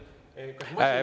Aga ma ütlen, et …